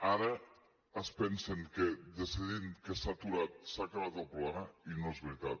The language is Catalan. ara es pensen que decidint que s’ha aturat s’ha acabat el problema i no és veritat